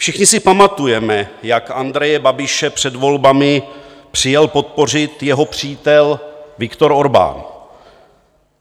Všichni si pamatujeme, jak Andreje Babiše před volbami přijel podpořit jeho přítel Viktor Orbán.